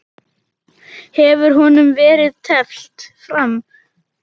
Hefur honum verið teflt fram?